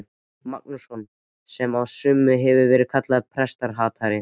Magnússon, sem af sumum hefur verið kallaður prestahatari.